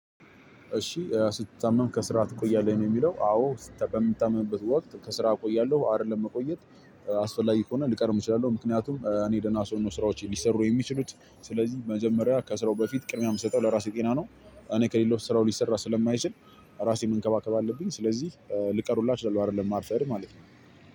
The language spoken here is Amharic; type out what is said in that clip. እሺ "ስትታመም ከስራ ትቆያለህ?" ነው የሚለው። አዎ በምታመምበት ወቅት ከስራ እቆያለሁ። አይደለም መቆየት አስፈላጊ ከሆነ ልቀርም እችላለሁ። ምክንያቱም እኔ ደና ስሆን ነው ስራዎቼ ሊሰሩ የሚችሉት። ስለዚህ መጀመሪያ ከስራው በፊት ቅድሚያ የምሰጠው ለራሴ ጤና ነው። እኔ ከሌለው ስራው ሊሰራ ስለማይችል ራሴን መንከባከብ አለብኝ። ስለዚህ ልቀር ሁላ እችላለሁ አይደለም ማርፈድ ማለት ነው።